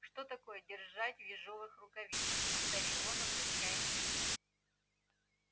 что такое дершать в ежовых рукавицах повторил он обращаясь ко мне